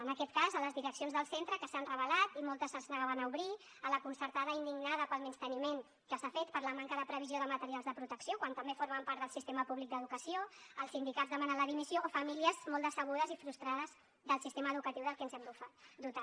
en aquest cas les direccions del centre que s’han rebel·lat i moltes es negaven a obrir la concertada indignada pel menysteniment que s’ha fet per la manca de previsió de materials de protecció quan també formen part del sistema públic d’educació els sindicats demanant la dimissió o famílies molt decebudes i frustrades del sistema educatiu del que ens hem dotat